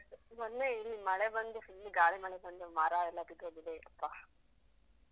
ಮೊನ್ನೆ ಇಲ್ಲಿ ಮಳೆ ಬಂದು, full ಗಾಳಿ - ಮಳೆ ಬಂದು ಮರಯೆಲ್ಲ ಬಿದ್ದೋಗಿದೆ ಅಪ್ಪ!